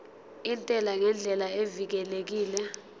intela ngendlela evikelekile